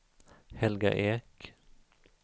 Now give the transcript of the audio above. Helga Ek